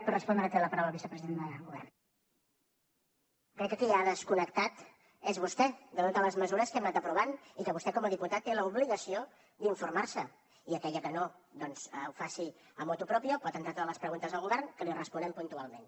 crec que qui ha desconnectat és vostè de totes les mesures que hem anat aprovant i que vostè com a diputat té l’obligació d’informar se i encara que no ho faci motu proprio pot entrar totes les preguntes al govern que li responem puntualment